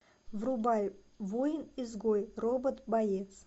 врубай воин изгой робот боец